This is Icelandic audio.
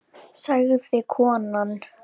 sagði konan.